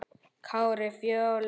Kári og Fjóla.